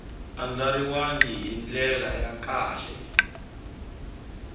andlariwangi hi ndlela ya kahle